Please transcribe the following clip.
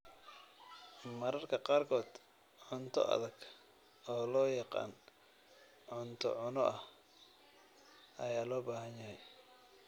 Mararka qaarkood cunto adag, oo loo yaqaan cunto cunno ah, ayaa loo baahan yahay.